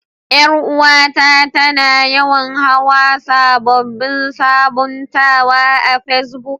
Yar uwa ta, ta na yawan hau sabobin sabuntawa a pesbuk.